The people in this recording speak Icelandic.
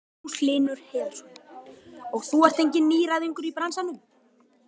Magnús Hlynur Hreiðarsson: Og þú ert enginn nýgræðingur í bransanum?